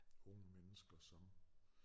Unge mennesker som